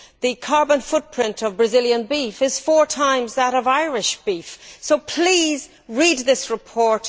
The carbon footprint of Brazilian beef is four times that of Irish beef, so please read this report.